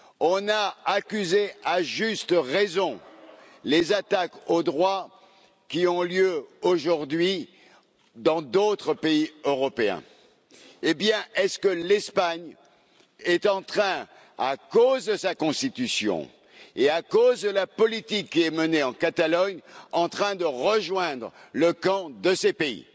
on a dénoncé, à juste raison, les attaques aux droits qui ont lieu aujourd'hui dans d'autres pays européens. Est ce que l'Espagne, à cause de sa constitution et à cause de la politique qui est menée en Catalogne, est en train de rejoindre le camp de ces pays?